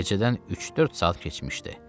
Gecədən üç-dörd saat keçmişdi.